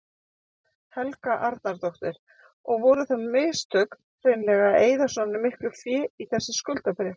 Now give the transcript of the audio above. Helga Arnardóttir: Og voru það mistök hreinlega að eyða svona miklu fé í þessi skuldabréf?